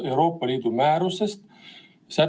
Palun, maaeluminister Urmas Kruuse, sõna on teil!